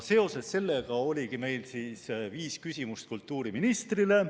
Seoses sellega ongi meil viis küsimust kultuuriministrile.